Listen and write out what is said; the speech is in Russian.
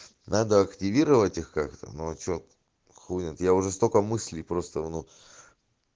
надо активировать их как-то молч чет хуй знает я уже столько мыслей просто в ну